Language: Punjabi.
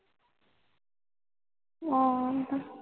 ਹੋਰ